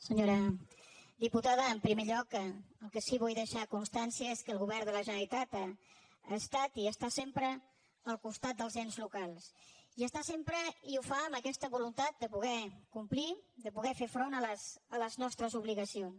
senyora diputada en primer lloc del que sí que vull deixar constància és que el govern de la generalitat ha estat i està sempre al costat dels ens locals hi està sempre i ho fa amb aquesta voluntat de poder complir de poder fer front a les nostres obligacions